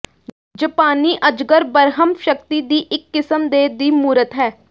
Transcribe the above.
ਜਪਾਨੀ ਅਜਗਰ ਬ੍ਰਹਮ ਸ਼ਕਤੀ ਦੀ ਇੱਕ ਕਿਸਮ ਦੇ ਦੀ ਮੂਰਤ ਹੈ